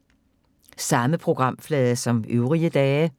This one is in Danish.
Samme programflade som øvrige dage